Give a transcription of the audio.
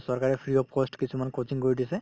চৰকাৰে free of cost কিছুমান coaching কৰি দিছে